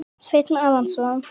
Sveinn Arason.